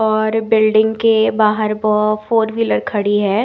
और बिल्डिंग के बाहर वो फोर व्हीलर खड़ी है।